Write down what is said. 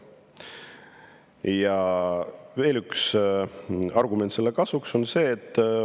Ja seda kinnitab veel üks argument.